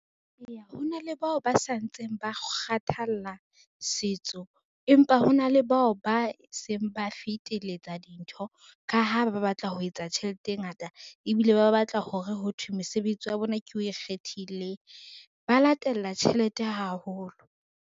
Eya hona le bao ba sa ntseng ba kgathalla setso, empa hona le bao ba seng ba feteletsa dintho ka ha ba ba batla ho etsa tjhelete e ngata ebile ba ba batla hore ho thwe mesebetsi ya bona ke o ikgethileng, ba latella tjhelete haholo.